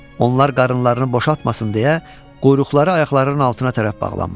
Onlar qarınlarını boşaltmasın deyə quyruqları ayaqlarının altına tərəf bağlanmışdı.